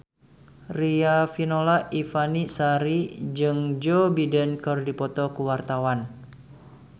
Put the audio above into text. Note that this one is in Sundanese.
Riafinola Ifani Sari jeung Joe Biden keur dipoto ku wartawan